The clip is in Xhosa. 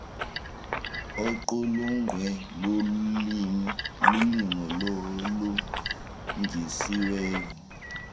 oqulunkqwe lulimo olulungisiweyo